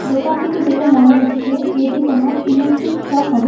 দোকানটিকে দেখে মনে হচ্ছে এটি কোন ইলেকট্রিক শপ হবে।